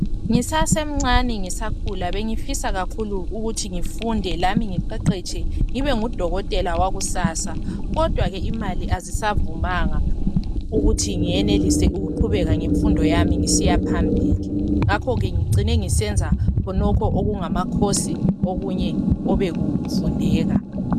Ngisasemncane, ngisakhula. Bengifisa kakhulu, ukuthi ngifunde lami. Ngiqeqetshe, ngibe ngudokotela wakusasa, kodwa ke imali kazisavumanga, ukuthi ngienelise ukuqhubeka ngemfundo yami, ngisiya phambili. Ngakho ke ngicine ngàisenza okungamacoaurse okunye obekufundeka.